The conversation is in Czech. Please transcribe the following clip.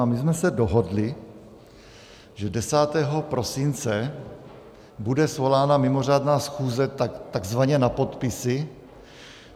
A my jsme se dohodli, že 10. prosince bude svolána mimořádná schůze takzvaně na podpisy.